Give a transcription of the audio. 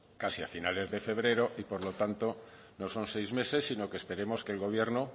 casi a finales de febrero y por lo tanto no son seis meses sino que esperemos que el gobierno